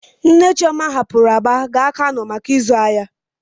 Nne Chioma rapuru Aba gaa Kano maka ịzụ ahịa.